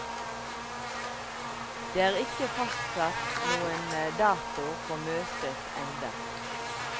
Det er ikke fastsatt noen dato for møtet enda.